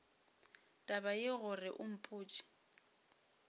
taba yeo gore o mpotše